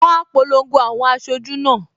Wọn á polongo àwọn aṣojú náà